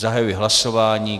Zahajuji hlasování.